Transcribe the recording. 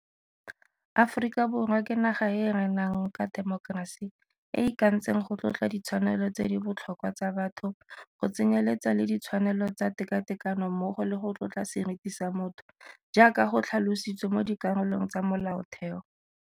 Aforika Borwa ke naga e e renang ka temokerasi, e e ikantseng go tlotla ditshwanelo tse di botlhokwa tsa batho, go tsenyeletsa le ditshwanelo tsa tekatekano mmogo le go tlotla seriti sa motho, jaaka go tlhalositswe mo dikarolong tsa Molaotheo.